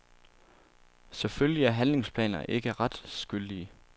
Selvfølgelig er handlingsplaner ikke retsgyldige.